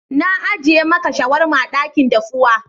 Na ajie maka shawarma a dakin dafuwa.